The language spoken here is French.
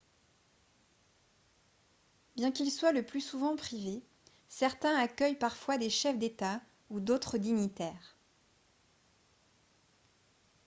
bien qu'ils soient le plus souvent privés certains accueillent parfois des chefs d'état ou d'autres dignitaires